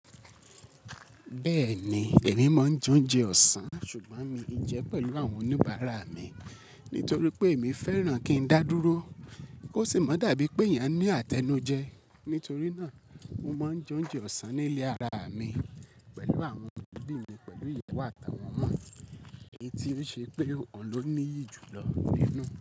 Bẹ́ẹ̀ni, èmi máa ń jẹ ounjẹ ọ̀sán, ṣùgbọ́n mii jẹ pẹ̀lú àwọn oníbàárà mi nítorí pé èmi fẹ́ràn kí n dá dúró kó sì má dàbí pé eeyan ni àtẹnujẹ. Nítorí náà, mo máa ń jẹ ounjẹ ọ̀sán ní ilé ara mi pẹ̀lú àwọn òbí mi pẹ̀lú ìwàyo àtàli awọn omọ̀ mi, èyí tí ó ṣe pé ọ̀hun ló níyì jù lọ nínú.